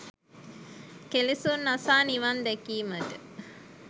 කෙලෙසුන් නසා නිවන් දැකීමට